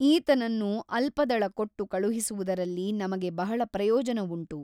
ಈತನನ್ನು ಅಲ್ಪದಳ ಕೊಟ್ಟು ಕಳುಹಿಸುವುದರಲ್ಲಿ ನಮಗೆ ಬಹಳ ಪ್ರಯೋಜನವುಂಟು.